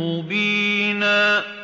مُّبِينًا